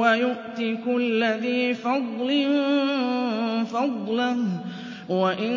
وَيُؤْتِ كُلَّ ذِي فَضْلٍ فَضْلَهُ ۖ وَإِن